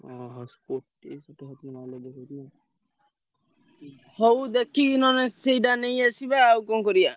ଓହୋ ଷାଠିଏ ସତୁରୀ mileage ଦେଖଉଛି ନା ଉଁ ହଉ ଦେଖିକି ନହେଲେ ସେଇଟା ନେଇଆସିବା ଆଉ କଣ କରିଆ।